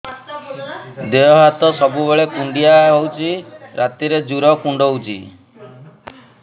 ଦେହ ହାତ ସବୁବେଳେ କୁଣ୍ଡିଆ ହଉଚି ରାତିରେ ଜୁର୍ କୁଣ୍ଡଉଚି